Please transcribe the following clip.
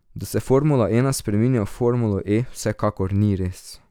Da se formula ena spreminja v Formulo E vsekakor ni res.